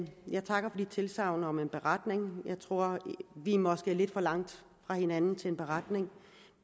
jeg takker for tilsagnene om en beretning jeg tror at vi måske er lidt for langt fra hinanden til en beretning